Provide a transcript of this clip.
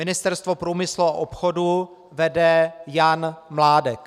Ministerstvo průmyslu a obchodu vede Jan Mládek.